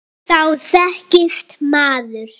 Þá þekkist maður.